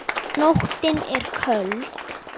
Nóttin er köld.